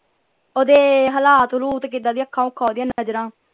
ਓਹਦੇ ਹਲਾਤ ਹਲੂਟ ਕਿਦਾਂ ਦੀਆਂ ਅੱਖਾਂ ਉਖਾ ਓਹਦੀਆਂ ਨਜਰਾਂ।